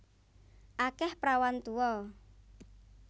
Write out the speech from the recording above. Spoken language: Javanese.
Akeh prawan tuwa